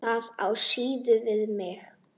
Það á síður við mig.